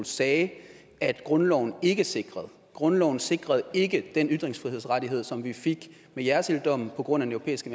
sagde at grundloven ikke sikrede grundloven sikrede ikke den ytringsfrihedsrettighed som vi fik med jersilddommen på grund af den europæiske